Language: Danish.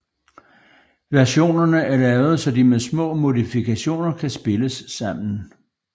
Versionerne er lavet så de med små modifikationer kan spilles sammen